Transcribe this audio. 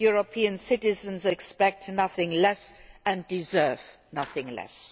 European citizens expect nothing less and deserve nothing less.